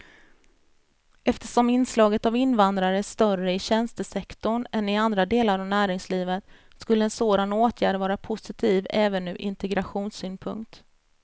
Eftersom inslaget av invandrare är större i tjänstesektorn än i andra delar av näringslivet skulle en sådan åtgärd vara positiv även ur integrationssynpunkt.